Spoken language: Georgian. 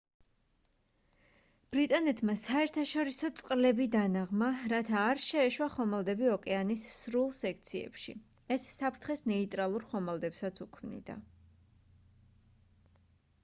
ბრიტანეთმა საერთაშორისო წყლები დანაღმა რათა არ შეეშვა ხომალდები ოკეანის სრულ სექციებში ეს საფრთხეს ნეიტრალურ ხომალდებსაც უქმნიდა